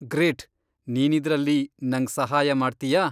Great! ನೀನಿದ್ರಲ್ಲಿ ನಂಗ್ ಸಹಾಯ ಮಾಡ್ತೀಯಾ?